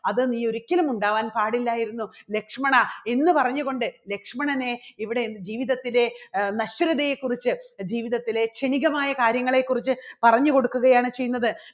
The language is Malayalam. അത് നീ ഒരിക്കലും ഉണ്ടാവാൻ പാടില്ലായിരുന്നു ലക്ഷ്മണ എന്ന് പറഞ്ഞുകൊണ്ട് ലക്ഷ്മണനെ ഇവിടെ ജീവിതത്തിൻറെ നശ്വരതയെ കുറിച്ച് ജീവിതത്തിലെ ക്ഷണികമായ കാര്യങ്ങളെക്കുറിച്ച് പറഞ്ഞുകൊടുക്കുകയാണ് ചെയ്യുന്നത്.